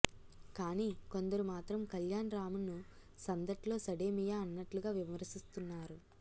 కాని కొందరు మాత్రం కళ్యాణ్ రామ్ను సందట్లో సడేమియా అన్నట్లుగా విమర్శిస్తున్నారు